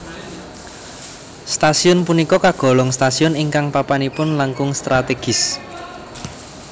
Stasiun punika kagolong stasiun ingkang papanipun langkung strategis